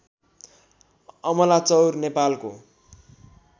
अमलाचौर नेपालको